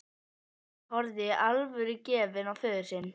Ari horfði alvörugefinn á föður sinn.